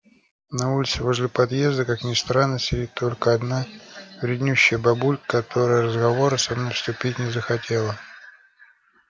на улице возле подъезда как ни странно сидит только одна вреднющая бабулька которая в разговоры со мной вступить не захотела